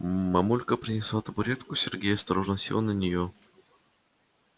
мамулька принесла табуретку сергей осторожно сел на нее